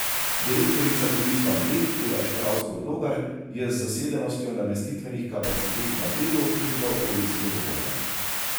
Direktorica Turizma Bled Eva Štravs Podlogar je z zasedenostjo namestitvenih kapacitet na Bledu in v okolici zadovoljna.